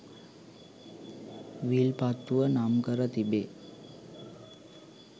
විල්පත්තුව නම් කර තිබේ.